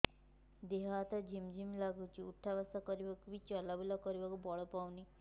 ଦେହେ ହାତ ଝିମ୍ ଝିମ୍ ଲାଗୁଚି ଉଠା ବସା କରିବାକୁ କି ଚଲା ବୁଲା କରିବାକୁ ବଳ ପାଉନି